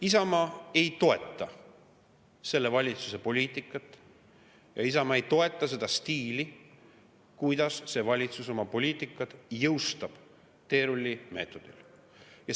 Isamaa ei toeta selle valitsuse poliitikat ja Isamaa ei toeta seda stiili, kuidas see valitsus oma poliitikat teerullimeetodil jõustab.